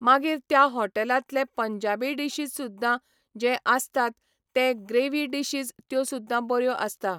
मागीर त्या हॉटेलांतले पंजाबी डिशीज सुद्दां जे आसतात ते ग्रेवी डिशीज त्यो सुद्दां बऱ्यो आसता.